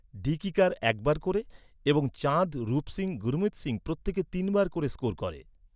Dickey Carr এক বার ক’রে এবং চাঁদ, রূপ সিংহ, গুরমিত সিংহ, প্রত্যেকে তিন বার ক’রে স্কোর করে।